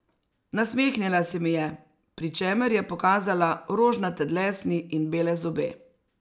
Nasmehnila se mi je, pri čemer je pokazala rožnate dlesni in bele zobe.